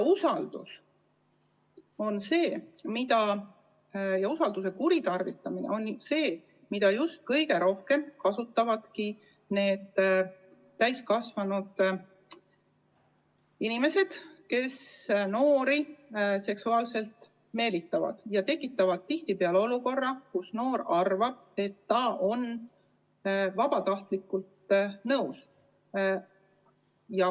Just usalduse kuritarvitamine on see, mida kõige rohkem esineb nende täiskasvanud inimeste puhul, kes noori seksuaalselt meelitavad, tekitades tihtipeale olukorra, kus noor arvab, et ta on vabatahtlikult vahekorraga nõus.